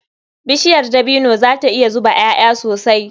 Bishiyar dabino za ta iya zuba ƴaƴa sosai.